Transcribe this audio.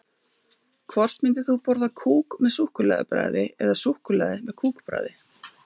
Hvort myndir þú borða kúk með súkkulaði bragði eða súkkulaði með kúk bragði?